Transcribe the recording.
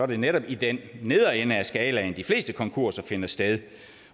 det netop i den nedre ende af skalaen de fleste konkurser finder sted